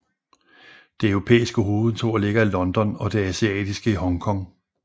Det europæiske hovedkontor ligger i London og det asiatiske i Hongkong